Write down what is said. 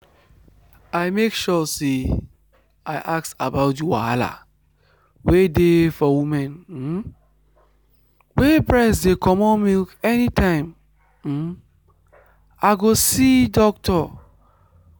i make sure say i ask about the wahala wey dey for women um wey breast dey comot milk anytime um i go see doctor.